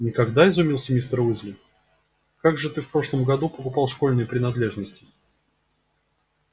никогда изумился мистер уизли а как же ты в прошлом году покупал школьные принадлежности